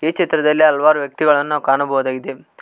ಈ ಚಿತ್ರದಲ್ಲಿ ಹಲವಾರು ವ್ಯಕ್ತಿಗಳನ್ನು ಕಾಣಬಹುದಾಗಿದೆ.